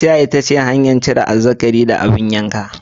Kaciya ita ce hanyar cire fatan azzakari da abin yanka.